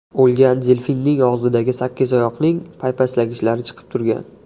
O‘lgan delfinning og‘zidan sakkizoyoqning paypaslagichlari chiqib turgan.